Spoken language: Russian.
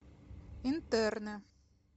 интерны